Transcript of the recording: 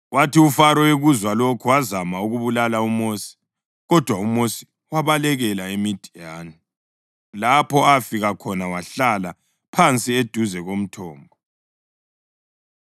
Kwathi uFaro ekuzwa lokho, wazama ukubulala uMosi, kodwa uMosi wabalekela eMidiyani, lapho afika khona wahlala phansi eduze komthombo.